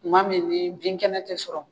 Tuma min ni bin kɛnɛ tɛ sɔrɔ